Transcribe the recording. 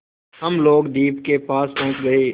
हम लोग द्वीप के पास पहुँच गए